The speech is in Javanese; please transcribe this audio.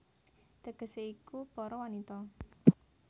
Tegesé iku Para Wanita